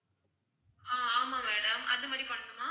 ஆஹ் ஆமாம் madam அது மாதிரி பண்ணனுமா?